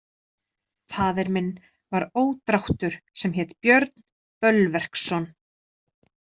Faðir minn var ódráttur sem hét Björn Bölverksson.